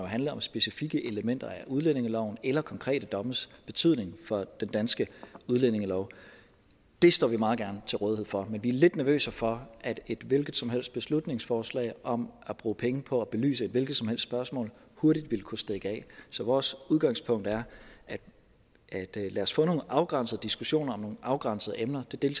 handler om specifikke elementer af udlændingeloven eller konkrete dommes betydning for den danske udlændingelov det står vi meget gerne til rådighed for men vi er lidt nervøse for at et hvilket som helst beslutningsforslag om at bruge penge på at belyse et hvilket som helst spørgsmål hurtigt vil kunne stikke af så vores udgangspunkt er at lad os få nogle afgrænsede diskussioner om nogle afgrænsede emner det